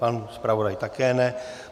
Pan zpravodaj také ne.